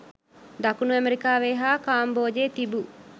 දකුණු ඇමරිකාවේ හා කාම්බෝජයේ තිබූ